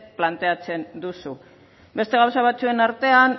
planteatzen duzu beste gauza batzuen artean